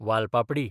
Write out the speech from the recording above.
वाल पापडी